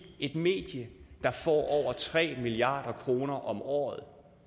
et medie der får over tre milliard kroner om året